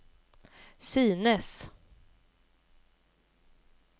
synes